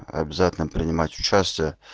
обязательно принимать участие